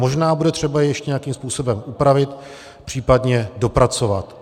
Možná bude třeba ještě nějakým způsobem upravit, případně dopracovat.